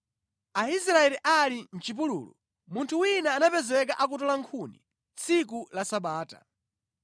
Aisraeli ali mʼchipululu, munthu wina anapezeka akutola nkhuni tsiku la Sabata.